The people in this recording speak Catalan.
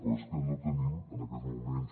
però és que no tenim en aquests moments